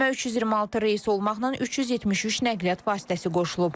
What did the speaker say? Sistemə 326 reys olmaqla 373 nəqliyyat vasitəsi qoşulub.